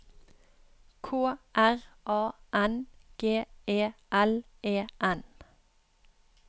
K R A N G E L E N